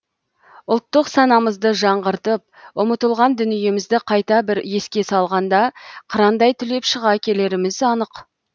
ұлттық санамызды жаңғыртып ұмытылған дүниемізді қайта бір еске салғанда қырандай түлеп шыға келеріміз анық